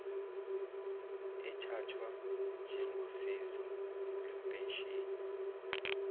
ethathwa njengosizo lwempesheni